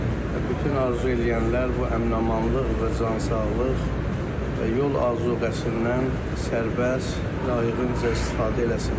Və bütün arzu eləyənlər bu əmin-amanlıq və cansağlıq və yol azuqəsindən sərbəst, layiqincə istifadə eləsinlər.